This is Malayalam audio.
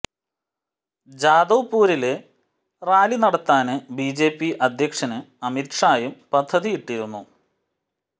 ജാദവ്പൂരില് റാലി നടത്താന് ബിജെപി അധ്യക്ഷന് അമിത് ഷായും പദ്ധതിയിട്ടിരുന്നു